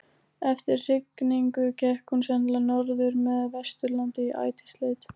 Eftir hrygningu gekk hún sennilega norður með Vesturlandi í ætisleit.